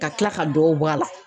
Ka kila ka dɔ bɔ a la.